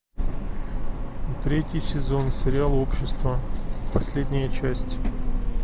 третий сезон сериал общество последняя часть